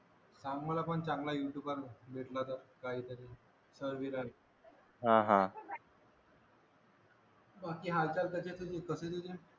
सांग मला पण चांगला यूट्यूबर वर भेटला तर काहीतरी बाकी हालचाल कसे आहेत तुझे